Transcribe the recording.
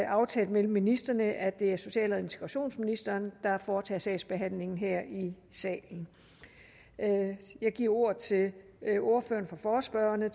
aftalt mellem ministrene at det er social og integrationsministeren der foretager sagsbehandlingen her i salen jeg giver ordet til ordføreren for forespørgerne